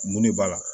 Mun de b'a la